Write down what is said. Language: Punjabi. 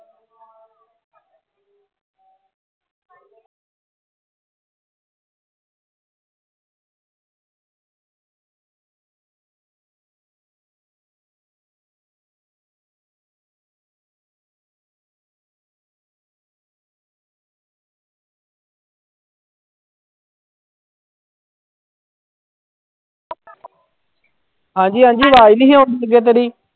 ਹਾਂਜੀ ਹਾਂਜੀ ਆਵਾਜ਼ ਨੀ ਸੀ ਆਉਂਦੀ ਤੇਰੀ।